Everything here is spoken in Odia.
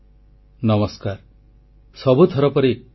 • ଆରମ୍ଭ ହେବ ମହାକାଶ ସମ୍ପର୍କୀୟ ସାଧାରଣ ଜ୍ଞାନ ପ୍ରତିଯୋଗିତା